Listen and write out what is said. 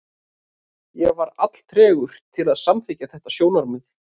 Ég var alltregur til að samþykkja þetta sjónarmið.